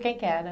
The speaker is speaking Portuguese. Quem que era?